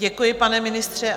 Děkuji, pane ministře.